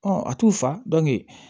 a t'u fa